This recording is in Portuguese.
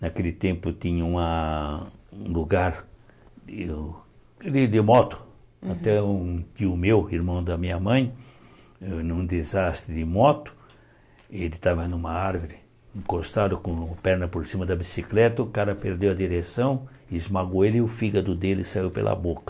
Naquele tempo tinha uma um lugar de de de moto, até um tio meu, irmão da minha mãe, num desastre de moto, ele estava numa árvore, encostado com a perna por cima da bicicleta, o cara perdeu a direção, esmagou ele e o fígado dele saiu pela boca.